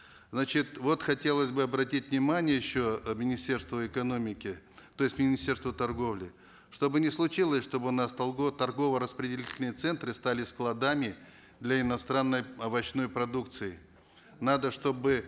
значит вот хотелось бы обратить внимание еще министерства экономики то есть министерства торговли чтобы не случилось чтобы у нас торгово распределительные центры стали складами для иностранной овощной продукции надо чтобы